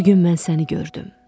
Bu gün mən səni gördüm.